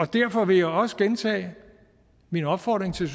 derfor vil jeg også gentage min opfordring til